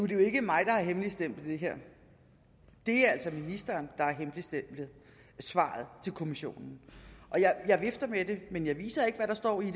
jo ikke mig der har hemmeligstemplet det her det er altså ministeren der har hemmeligstemplet svaret til kommissionen jeg vifter med det men jeg viser ikke hvad der står i